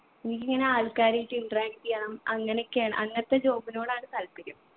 ഇനിക്കിങ്ങന ആൾക്കാരുമായിട്ട് interact ചെയ്യണം അങ്ങനക്കെയാണ് അങ്ങനത്തെ job നോടാണ് താൽപര്യം